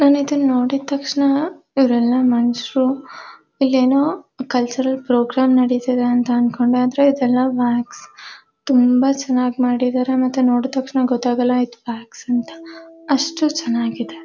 ನಾನ್ ಇದನ್ನ ನೋಡಿದ ತಕ್ಷಣ ಇವರೆಲ್ಲ ಮನುಷ್ಯರು ಇಲ್ಲೇನೋ ಕಲ್ಚರಲ್ ಪ್ರೋಗ್ರಾಮ್ ನಡೀತಿದೆ ಅಂತ ಅನ್ಕೊಂಡೆ ಆದರೆ ಇದೆಲ್ಲ ವ್ಯಾಕ್ಸ್ ತುಂಬಾ ಚೆನ್ನಾಗಿ ಮಾಡಿದ್ದಾರೆ ಮತ್ತೆ ನೋಡಿದ್ ತಕ್ಷಣ ಗೊತ್ತಾಗಲ್ಲ ಇದು ವ್ಯಾಕ್ಸ್ ಅಂತ ಅಷ್ಟು ಚೆನ್ನಾಗಿದೆ.